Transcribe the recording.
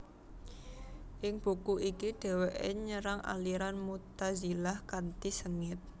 Ing buku iki dheweke nyerang aliran Mu tazilah kanthi sengit